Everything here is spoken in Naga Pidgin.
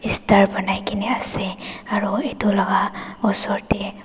star banai kena ase aro itu laga osor te--